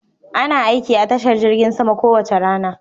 Ana aiki a tashar jirgin sama kowace rana.